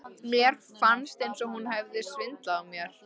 Mér fannst eins og hún hefði svindlað á mér.